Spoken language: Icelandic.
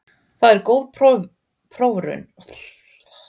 Það er góð prófraun, er það ekki?